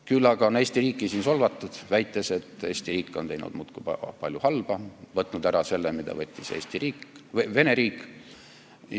Küll aga on Eesti riiki solvatud, väites, et Eesti riik on muudkui teinud väga palju halba, võtnud ära selle, mille võttis tegelikult Vene riik.